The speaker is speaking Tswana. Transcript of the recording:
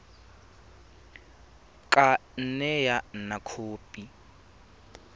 ka nne ya nna khopi